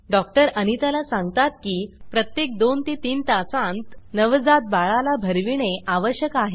doctor Anita ला सांगतात की प्रत्येक 2 ते 3 तासांत नवजात बाळाला भरविणे आवश्यक आहे